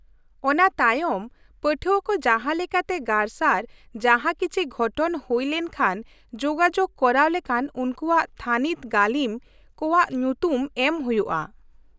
ᱚᱱᱟ ᱛᱟᱭᱚᱢ, ᱯᱟᱹᱴᱷᱣᱟᱹ ᱠᱚ ᱡᱟᱦᱟᱸ ᱞᱮᱠᱟᱛᱮ ᱜᱟᱨᱥᱟᱨ ᱡᱟᱦᱟᱸ ᱠᱤᱪᱷᱤ ᱜᱷᱚᱴᱚᱱ ᱦᱩᱭ ᱞᱮᱱ ᱠᱷᱟᱱ ᱡᱳᱜᱟᱡᱳᱜ ᱠᱚᱨᱟᱣ ᱞᱮᱠᱟᱱ ᱩᱱᱠᱩᱣᱟᱜ ᱛᱷᱟᱹᱱᱤᱛ ᱜᱟᱹᱞᱤᱢ ᱠᱚᱣᱟᱜ ᱧᱩᱛᱩᱢ ᱮᱢ ᱦᱩᱭᱩᱜᱼᱟ ᱾